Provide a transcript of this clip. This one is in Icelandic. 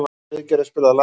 Friðgerður, spilaðu lag.